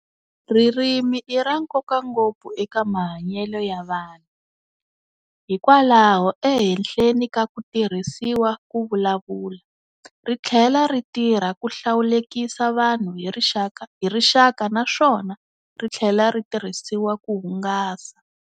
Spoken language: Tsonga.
Ririmi i rankoka ngopfu eka mahanyele ya vanhu, hikwalaho ehenhleni ka ku tirhisiwa kuvulavula, rithlela ri tirha kuhlawulekisa vanhu hirixaka naswona rithlela ritirhisiwa ku hungasa.